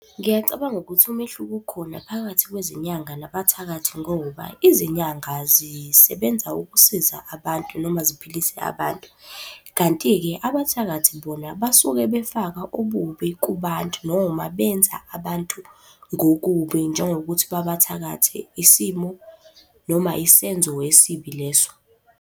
Ngiyacabanga ukuthi umehluko ukhona phakathi kwezinyanga nabathakathi ngoba izinyanga zisebenza ukusiza abantu noma ziphilise abantu. Kanti-ke abathakathi bona basuke befaka ububi kubantu noma benza abantu ngokubi njengokuthi babathakathe isimo noma isenzo esibi leso.